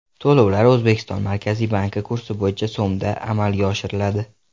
To‘lovlar O‘zbekiston Markaziy banki kursi bo‘yicha so‘mda amalga oshiriladi.